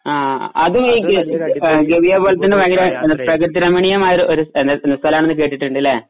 ആ അതും ഈ ഗവി കവിയെ പോലെതന്നെ പ്രകൃതി രമണീയമായൊരു സ്ഥലമാണെന്ന് കേട്ടുണ്ടല്ലേ അല്ലെ